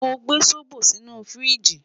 Mo gbe zobo sinu firiji